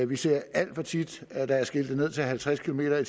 vi ser alt for tit at der er skiltet ned til halvtreds kilometer